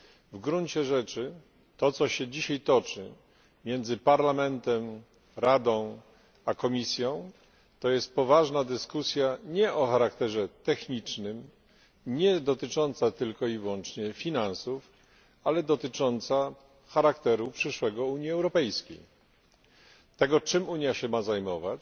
W gruncie rzeczy to, co się dzisiaj toczy między Parlamentem, Radą a Komisją, to jest poważna dyskusja nie o charakterze technicznym, nie dotycząca tylko i wyłącznie finansów, ale dotycząca przyszłego charakteru Unii Europejskiej tego, czym Unia ma się zajmować,